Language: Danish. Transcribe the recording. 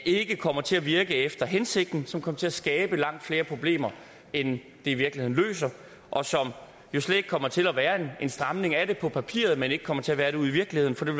ikke kommer til at virke efter hensigten men som kommer til at skabe langt flere problemer end det i virkeligheden løser og som jo kommer til at være en stramning af det på papiret men slet ikke kommer til at være det ude i virkeligheden for det